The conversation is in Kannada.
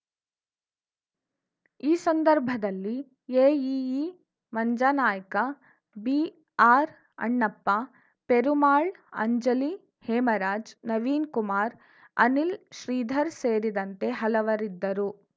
ಈ ಸಂದರ್ಭದಲ್ಲಿ ಎಇಇ ಮಂಜಾನಾಯ್ಕ ಬಿಆರ್‌ ಅಣ್ಣಪ್ಪ ಪೆರುಮಾಳ್‌ ಅಂಜಲಿ ಹೇಮರಾಜ್‌ ನವೀನ್‌ಕುಮಾರ್‌ ಅನಿಲ್‌ ಶ್ರೀಧರ್‌ ಸೇರಿದಂತೆ ಹಲವರಿದ್ದರು